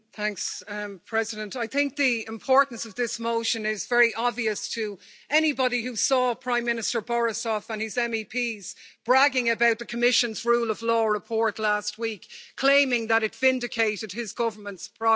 Mr President, I think the importance of this motion is very obvious to anybody who saw Prime Minister Borisov and his MEPs bragging about the Commission's rule of law report last week, claiming that it vindicated his government's progress.